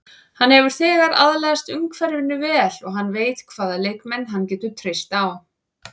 Hann hefur þegar aðlagast umhverfinu vel og hann veit hvaða leikmenn hann getur treyst á.